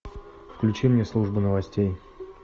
включи мне служба новостей